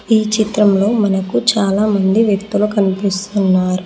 ఈ చిత్రంలో మనకు చాలా మంది వ్యక్తులు కనిపిస్తున్నారు.